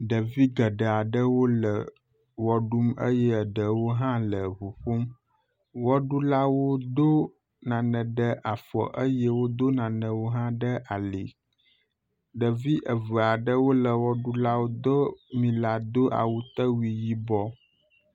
Ɖevi geɖe aɖewo le ʋe ɖum eye eɖewo hã le ŋu ƒom. Ʋeɖula do nane ɖe afɔ eye wodo nanewo hã ɖe ali. Ɖevi eve aɖewo le ʋeɖulawo do mi la do awutewui yibɔ.